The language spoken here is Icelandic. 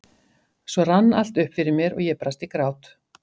Svo rann allt upp fyrir mér og ég brast í grát.